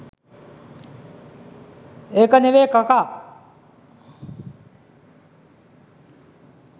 ඒක නෙවේ කකා